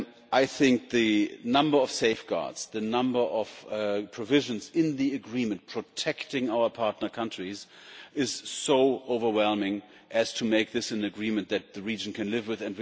I think the number of safeguards, the number of provisions in the agreement protecting our partner countries, is so overwhelming as to make this an agreement that the region can live with.